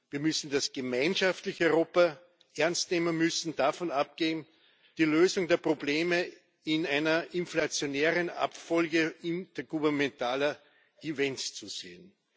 Wir müssen das gemeinschaftliche Europa ernst nehmen. Wir müssen davon abgehen, die Lösung der Probleme in einer inflationären Abfolge intergouvernementaler Events zu sehen.